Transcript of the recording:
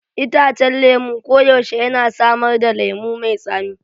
Itacen lemu koyaushe yana samar da lemu mai tsami.